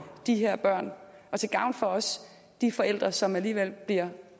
de her børn og til gavn for også de forældre som alligevel bliver